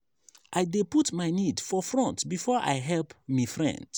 i dey put my need for front before i help me friends.